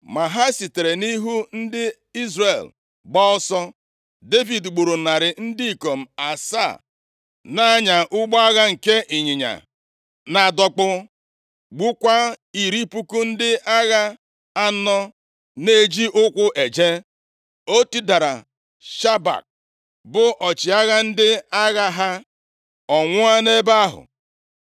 Ma ha sitere nʼihu ndị Izrel gbaa ọsọ, Devid gburu narị ndị ikom asaa na-anya ụgbọ agha nke ịnyịnya na-adọkpụ. Gbukwaa iri puku ndị agha anọ na-eji ụkwụ eje. O tidara Shobak, bụ ọchịagha ndị agha ha, ọ nwụọ nʼebe ahụ.